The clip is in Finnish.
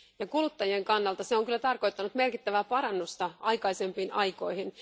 Kuluttajien kannalta se on tarkoittanut merkittävää parannusta aikaisempiin aikoihin.